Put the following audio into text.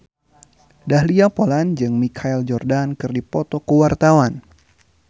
Dahlia Poland jeung Michael Jordan keur dipoto ku wartawan